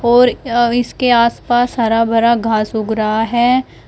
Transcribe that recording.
और अ इसके आस पास हरा भरा घास उग रहा है।